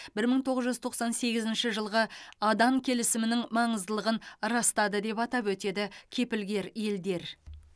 бір мың тоғыз жүз тоқсан сегізінші жылғы адан келісімінің маңыздылығын растады деп атап өтеді кепілгер елдер